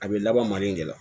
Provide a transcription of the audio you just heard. A bɛ laban nin de la